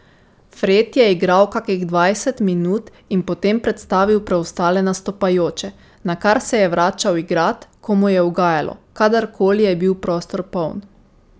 Fred je igral kakih dvajset minut in potem predstavil preostale nastopajoče, nakar se je vračal igrat, ko mu je ugajalo, kadar koli je bil prostor poln.